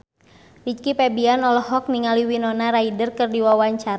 Rizky Febian olohok ningali Winona Ryder keur diwawancara